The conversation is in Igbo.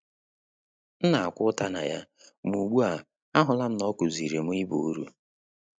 M na-akwa ụta na ya, ma ugbu a, ahụla m na ọ kụziiri m ịba iru